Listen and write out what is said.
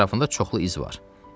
Ətrafında çoxlu iz var.